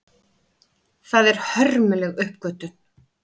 Það er hörmuleg uppgötvun.